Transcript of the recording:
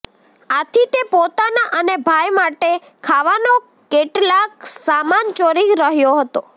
આથી તે પોતાના અને ભાઈ માટે ખાવાનો કેટલાક સામાન ચોરી રહ્યો હતો